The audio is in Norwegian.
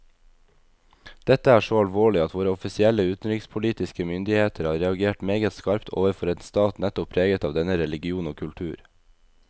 Dette er så alvorlig at våre offisielle utenrikspolitiske myndigheter har reagert meget skarpt overfor en stat nettopp preget av denne religion og kultur.